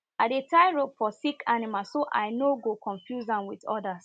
i dey tie rope for sick animal so i no go confuse am with others